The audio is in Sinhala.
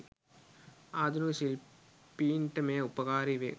ආධුනික ශිල්පීන්ට මෙය උපකාරී වේ.